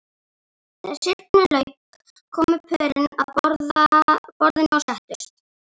Þegar syrpunni lauk komu pörin að borðinu og settust.